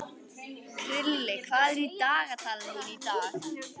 Krilli, hvað er í dagatalinu mínu í dag?